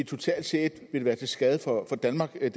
totalt set vil være til skade for danmark det